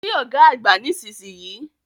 Kí Ọ̀gá àgbà nísinsìnyí!